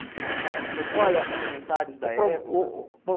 Olha O senhor se lembra de comentários da época? O pro o po